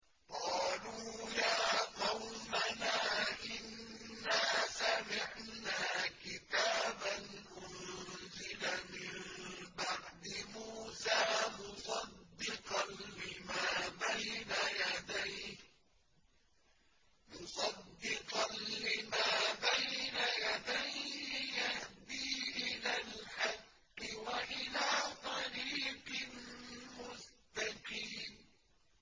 قَالُوا يَا قَوْمَنَا إِنَّا سَمِعْنَا كِتَابًا أُنزِلَ مِن بَعْدِ مُوسَىٰ مُصَدِّقًا لِّمَا بَيْنَ يَدَيْهِ يَهْدِي إِلَى الْحَقِّ وَإِلَىٰ طَرِيقٍ مُّسْتَقِيمٍ